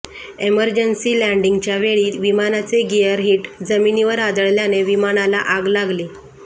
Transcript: emergency लँडींगच्यावेळी विमानाचे gear hit जमिनीवर आदळल्याने विमानाला आग लागली